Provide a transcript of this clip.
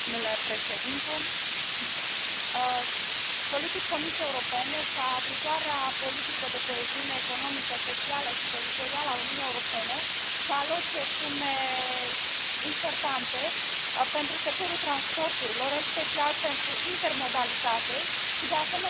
Solicit Comisiei Europene ca viitoarea politică de coeziune economică, socială și teritorială a Uniunii Europene să aloce sume importante pentru sectorul transporturilor, în special pentru intermodalitate și, de asemenea, pentru eficiența energetică a locuințelor.